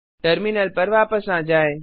terminal पर वापस आ जाएँ